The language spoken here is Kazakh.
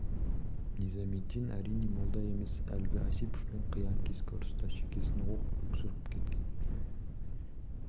низамеддин әрине молда емес әлгі осиповпен қиян-кескі ұрыста шекесін оқ жырып кеткен